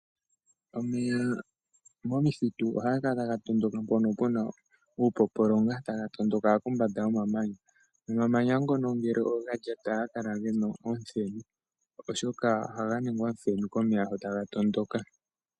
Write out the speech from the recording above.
Omeya momithitu ohaga kala taga tondoka mpono puna uupopolonga taga tondoka kombanda yomamanya omamanya ngono ngele oga lyatwa ohaga kala gena omuthenu oshoka ohaga kala taga ningwa omuthenu komeya taga tondoka .